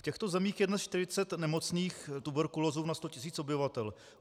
V těchto zemích je dnes 40 nemocných tuberkulózou na 100 000 obyvatel.